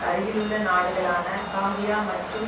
அருகிலுள்ள நாடுகளான காம்பியா மற்றும்